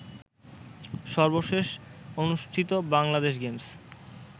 সর্বশেষ অনুষ্ঠিত বাংলাদেশ গেমসে